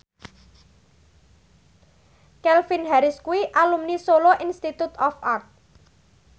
Calvin Harris kuwi alumni Solo Institute of Art